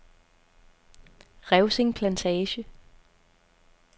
Revsing Plantage